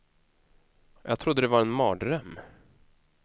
Jag trodde det var en mardröm.